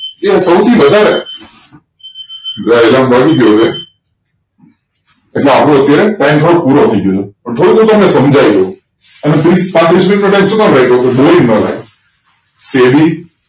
એ સૌથી વધારે ગયો હવે એટલે અત્યાર time થોડોક પૂરો થયી ગયો છે ન થોડુંક તામેં સમજાયવું અને ત્રીસ પાત્રીસ SEBI